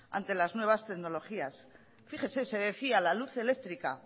ante las nuevas tecnologías fíjese se decía la luz eléctrica